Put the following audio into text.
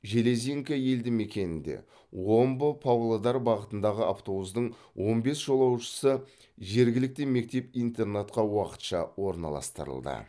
железинка елді мекенінде омбы павлодар бағытындағы автобустың он бес жолаушысы жергілікті мектеп интернатқа уақытша орналастырылды